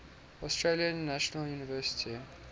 australian national university